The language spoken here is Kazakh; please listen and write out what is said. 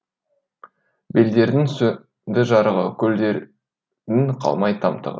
белдердің сөнді жарығы көлдердің қалмай тамтығы